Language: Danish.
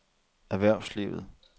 erhvervslivet